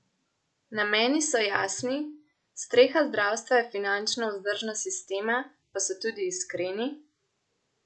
Nameni so jasni, streha zdravstva je finančna vzdržnost sistema, pa so tudi iskreni?